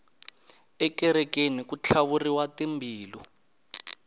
ekerekeni ku tlhavuriwa tambilu